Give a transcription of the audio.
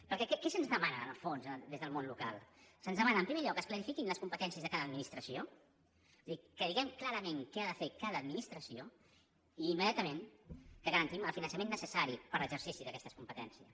perquè què se’ns demana en el fons des del món local se’ns demana en primer lloc que es clarifiquin les competències de cada administració és a dir que diguem clarament què ha de fer cada administració i immediatament que garantim el finançament necessari per a l’exercici d’aquestes competències